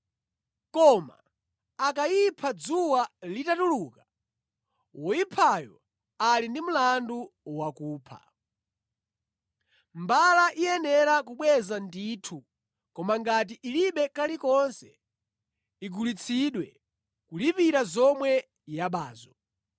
Koma akayipha dzuwa litatuluka, woyiphayo ali ndi mlandu wakupha. “Mbala iyenera kubweza ndithu koma ngati ilibe kalikonse igulitsidwe, kulipira zomwe yabazo.